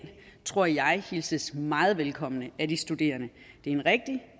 tror jeg hilses meget velkommen af de studerende det er en rigtig